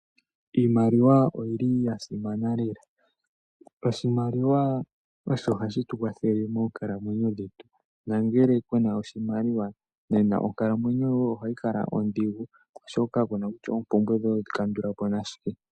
Iimaliwa oyili yasimana lela, oshimaliwa osho hashi tukwathele moonkalamwenyo dhetu. nangele kuna oshimaliwa nena onkalamwenyo yoye ohayi kala odhigu oshoka kuna kutya oompumbwe dhoye oto dhi kandulapo nashike.